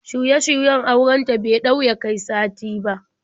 Shirye-shiryen auren ta bai ɗau ya kai sati ba.